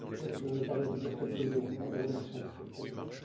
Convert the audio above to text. Je me permets de dire quelques mots, en vous remerciant, Monsieur le Président.